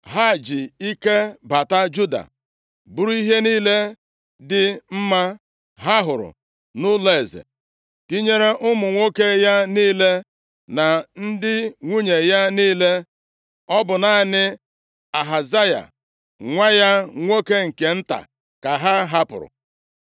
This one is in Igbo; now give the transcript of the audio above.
Ha ji ike bata Juda, buru ihe niile dị mma ha hụrụ nʼụlọeze, tinyere ụmụ nwoke ya niile na ndị nwunye ya niile. Ọ bụ naanị Ahazaya, nwa ya nwoke nke nta ka ha hapụrụ.